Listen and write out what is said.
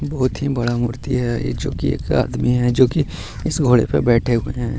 बहुत ही बड़ा मूर्ति है यह जो की एक आदमी है जो कि इस घोड़े पर बैठे हुए हैं।